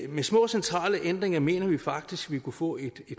med små centrale ændringer mener vi faktisk vi kunne få et